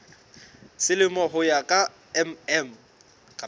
selemo ho ya ka mm